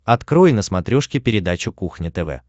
открой на смотрешке передачу кухня тв